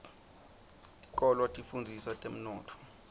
tikolwa tifundzisa temnotfo